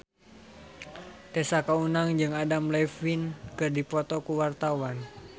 Tessa Kaunang jeung Adam Levine keur dipoto ku wartawan